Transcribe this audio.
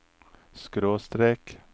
skråstrek